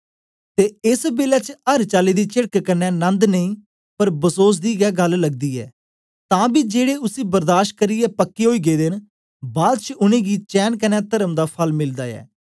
ते एस बेलै च अर चाली दी चेड़क क्न्ने नन्द नेई पर बसोस दी गै गल्ल लगती ऐ तां बी जेड़े उसी बर्दाशबर्दाश पक्के ओई गेदे न बाद च उनेंगी चैन कन्ने तर्म दा फल मिलदा ऐ